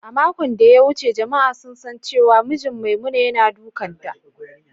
A makon ɗaya wuce jama’a sun san cewa mijin Maimuna yana dukanta.